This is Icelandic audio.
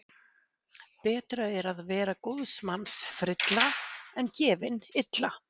Betra er að vera góðs manns frilla en gefin illa.